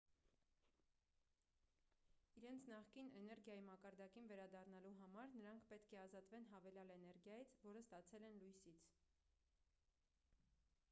իրենց նախկին էներգիայի մակարդակին վերադառնալու համար նրանք պետք է ազատվեն հավելյալ էներգիայից որը ստացել են լույսից